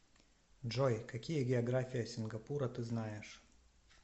джой какие география сингапура ты знаешь